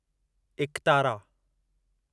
एकतारा